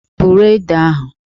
Buru Ede ahụ!